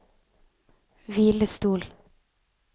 hvilestol